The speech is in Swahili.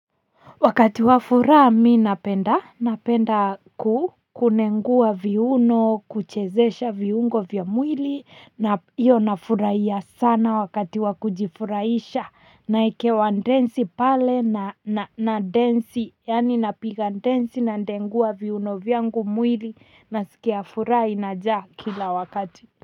Wakati wa furaha mi napenda, napenda kunengua viuno kuchezesha viungo vya mwili na hiyo nafurahia sana wakati wa kujifurahisha naekewa densi pale nadensi yaani napiga densi nadengua viuno vyangu mwili nasikia furaha inajaa kila wakati.